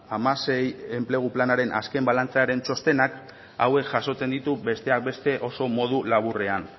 hamasei enplegu planaren azken balantzearen txostenak hauek jasotzen ditu besteak beste oso modu laburrean